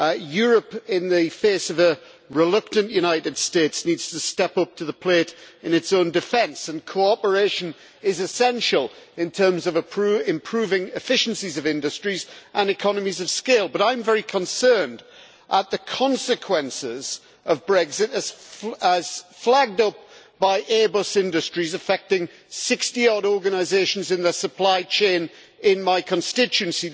Europe, in the face of a reluctant United States, needs to step up to the plate in its own defence, and cooperation is essential in terms of improving industrial efficiency and economies of scale. I am very concerned at the consequences of Brexit, as flagged up by Airbus Industries, affecting 60 odd organisations in their supply chain in my constituency.